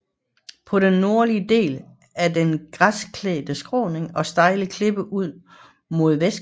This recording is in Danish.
På den nordlige del er der græsklædte skråninger og stejle klipper ud mod vestkysten